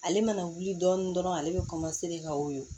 Ale mana wuli dɔɔnin dɔrɔn ale bɛ ka woyo